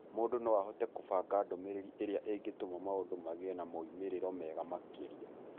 Mũndũ no ahote kũbanga ndũmĩrĩri ĩrĩa ĩngĩtũma maũndũ magĩe na moimĩrĩro mega makĩria.